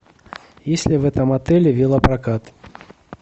есть ли в этом отеле велопрокат